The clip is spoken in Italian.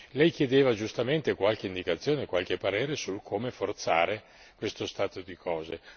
Lei chiedeva giustamente qualche indicazione, qualche parere su come forzare questo stato di cose